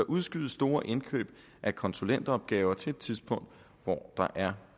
udskyde store indkøb af konsulentopgaver til et tidspunkt hvor der er